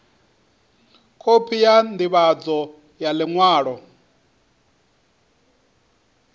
khophi ya ndivhadzo ya liṅwalo